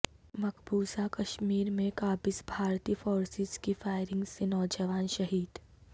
مقبوضہ کشمیرمیں قابض بھارتی فورسزکی فائرنگ سے نوجوان شہید